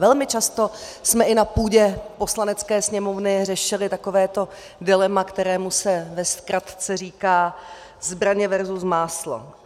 Velmi často jsme i na půdě Poslanecké sněmovny řešili takovéto dilema, kterému se ve zkratce říká zbraně versus máslo.